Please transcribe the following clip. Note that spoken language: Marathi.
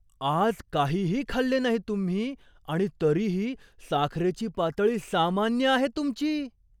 आज काहीही खाल्ले नाही तुम्ही आणि तरीही साखरेची पातळी सामान्य आहे तुमची!